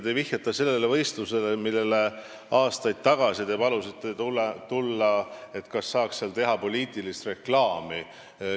Te vihjate sellele võistlusele, millele te aastaid tagasi tahtsite tulla ja palusite, et seal saaks teha poliitilist reklaami.